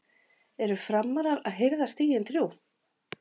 ERU FRAMARAR AÐ HIRÐA STIGIN ÞRJÚ??